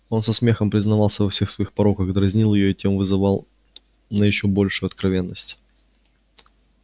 он со смехом признавался во всех своих пороках дразнил её и тем вызывал на ещё большую откровенность